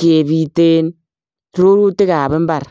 kebuteen rurutiik ab mbar.